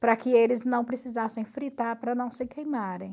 para que eles não precisassem fritar para não se queimarem.